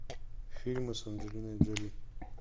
фильмы с анджелиной джоли